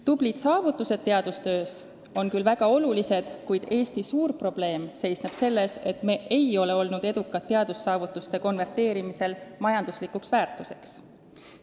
Tublid saavutused teadustöös on küll väga olulised, kuid Eesti suur probleem seisneb selles, et me ei ole olnud edukad teadussaavutuste konverteerimisel majanduslikuks väärtuseks.